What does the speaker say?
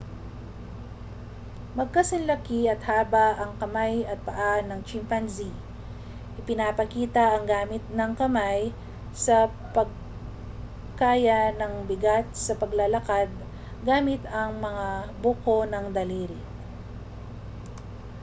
magkasinlaki at haba ang kamay at paa ng chimpanzee ipinapakita ang gamit ng kamay sa pagkaya ng bigat sa paglalakad gamit ang mga buko ng daliri